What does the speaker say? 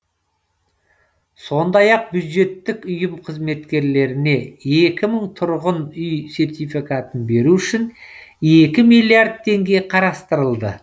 сондай ақ бюджеттік ұйым қызметкерлеріне екі мың тұрғын үй сертификатын беру үшін екі миллиард теңге қарастырылды